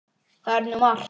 Það er nú margt.